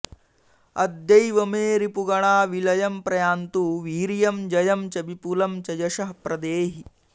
अद्यैव मे रिपुगणा विलयं प्रयान्तु वीर्यं जयं च विपुलं च यशः प्रदेहि